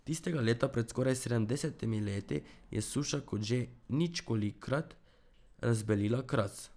Tistega leta pred skoraj sedemdesetimi leti je suša kot že ničkolikokrat razbelila Kras.